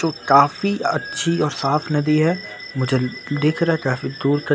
तो काफी अच्छी और साफ नदी है मुझे दिख रहा है काफी दूर--